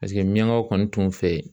Paseke miyangaw kɔni tun fɛ yen